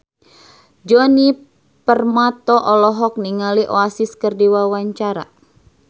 Djoni Permato olohok ningali Oasis keur diwawancara